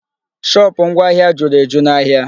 Shopụ̀ ngwa ahịa juru eju n'ahịa.